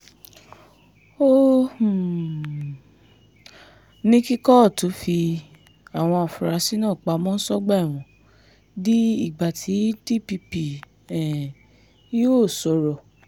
ó um ní kí kóòtù fi àwọn afurasí náà pamọ́ sọ́gbà ẹ̀wọ̀n di ìgbà tí dpp um yóò sọ̀rọ̀